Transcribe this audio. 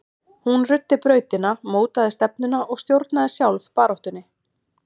Hún ruddi brautina, mótaði stefnuna og stjórnaði sjálf baráttunni.